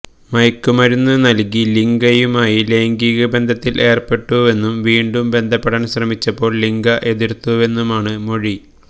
മയക്കുമരുന്നു നല്കി ലിഗയുമായി ലൈംഗികബന്ധത്തില് ഏര്പ്പെട്ടുവെന്നും വീണ്ടും ബന്ധപ്പെടാന് ശ്രമിച്ചപ്പോള് ലിഗ എതിര്ത്തുവെന്നുമാണ് മൊഴി